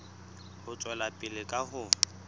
ho tswela pele ka ho